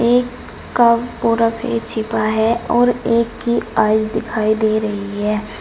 एक का पूरा फेस छिपा है और एक की आइस दिखाई दे रही है।